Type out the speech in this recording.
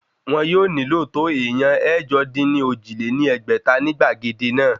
Wọ́n yóò nílò tó èèyàn ẹ̀jọ-dín-ní-ojì lé ní ẹgbẹ́ta ní gbàgede náà